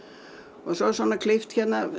og svo svona klippt hérna